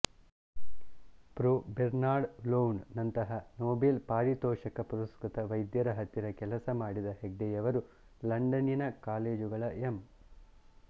pro Bernard Lown ನಂತಹ Nobel ಪಾರಿತೋಷಕ ಪುರಸ್ಕೃತ ವೈದ್ಯರ ಹತ್ತಿರ ಕೆಲಸ ಮಾಡಿದ ಹೆಗ್ಡೆಯವರು ಲಂಡನ್ನಿನ ಕಾಲೇಜುಗಳ ಎಂ